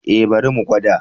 E, bari mu gwada.